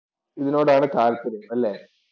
ഇതിനോടാണ് താല്പര്യം അല്ലേ.